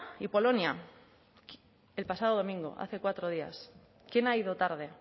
y polonia el pasado domingo hace cuatro días quién ha ido tarde